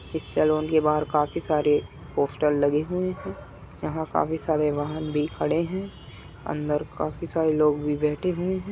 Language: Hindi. इस सलून के बाहर काफी सारे पोस्टर लगे हुए हैं यहाँ काफी सारे वाहन भी खड़े हैं अंदर काफी सारे लोग भी बैठे हुए है।